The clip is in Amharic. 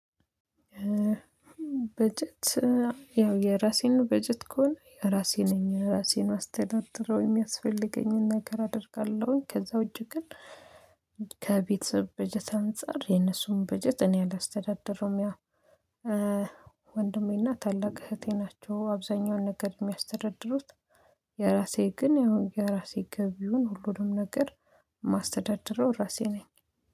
በጀት ያው የራሴን በጀት ከሆነ የራሴን ነኝ የራሴን አስተዳደረው የሚያስፈልገኝን ነገር አደርጋለሁኝ። ከዛ እጅግ ግን ከቤተሰብ በጀት አንፃር የነሱን በጀት እኔ አላስተዳደረውም። ያ ወንድሜና ታላቅ እህቴ ናቸው አብዛኛውን ነገር የሚያስተዳድሩት። የራሴ ግን የራሴ ግብ ይሁን ሁሉንም ነገር ማስተዳድረው እራሴ ነኝ።